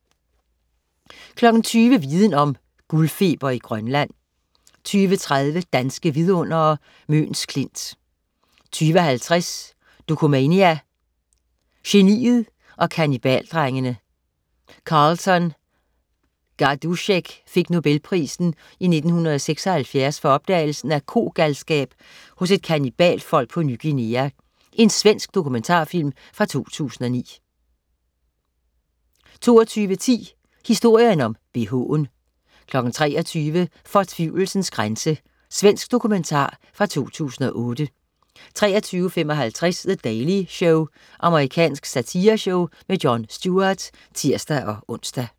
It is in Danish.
20.00 Viden Om: Guldfeber i Grønland 20.30 Danske vidundere: Møns Klint 20.50 Dokumania: Geniet og kannibaldrengene. Carleton Gajdusek fik Nobelprisen i 1976 for opdagelsen af kogalskab hos et kannibalfolk på Ny Guinea. Svensk dokumentarfilm fra 2009 22.10 Historien om bh'en 23.00 Fortvivlelsens grænse. Svensk dokumentar fra 2008 23.55 The Daily Show. Amerikansk satireshow. Jon Stewart (tirs-ons)